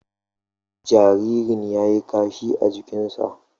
Jaririn ya yi kashi a jikinsa.